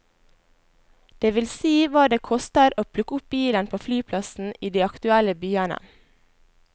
Det vil si hva det koster å plukke opp bilen på flyplassen i de aktuelle byene.